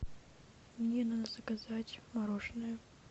мне надо заказать мороженое